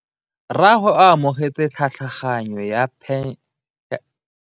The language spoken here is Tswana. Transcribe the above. Rragwe o amogetse tlhatlhaganyo ya tšhelete ya phenšene.